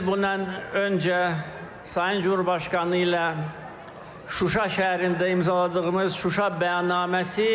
Dörd il bundan öncə Sayın Cümhurbaşqanı ilə Şuşa şəhərində imzaladığımız Şuşa bəyannaməsi